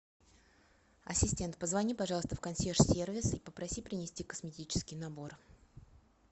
ассистент позвони пожалуйста в консьерж сервис и попроси принести косметический набор